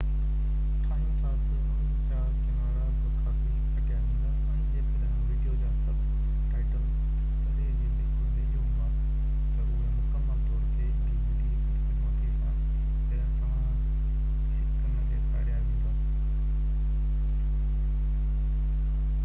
بدقسمتي سان جڏهن توهان هڪ dvd ٺاهيو ٿا ته ان جا ڪنارا بہ ڪافي ڪٽيا ويندا ۽ جيڪڏهن ويڊيو جا سب ٽائيٽل تري جو بلڪل ويجهو هئا تہ اهي مڪمل طور تي نہ ڏيکاريا ويندا